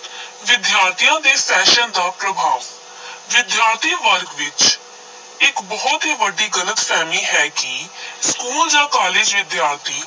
ਵਿਦਿਆਰਥੀਆਂ ਤੇ fashion ਦਾ ਪ੍ਰਭਾਵ ਵਿਦਿਆਰਥੀ ਵਰਗ ਵਿੱਚ ਇਕ ਬਹੁਤ ਹੀ ਵੱਡੀ ਗਲਤ-ਫ਼ਹਿਮੀ ਹੈ ਕਿ school ਜਾਂ college ਵਿਦਿਆਰਥੀ